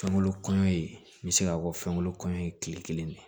Fɛnkolo kɔɲɔ ye n bɛ se k'a fɔ fɛnkolon kɔɲɔ ye tile kelen ne